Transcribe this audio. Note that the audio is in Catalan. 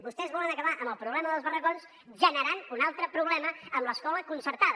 vostès volen acabar amb el problema dels barracons generant un altre problema amb l’escola concertada